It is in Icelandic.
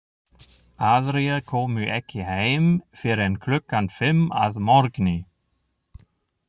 Aðrir komu ekki heim fyrr en klukkan fimm að morgni.